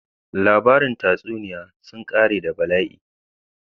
Labarin tatsuniya sun ƙare da bala'i.